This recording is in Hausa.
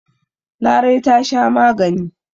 Larai ta sha magani.